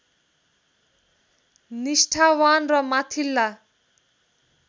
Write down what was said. निष्ठावान् र माथिल्ला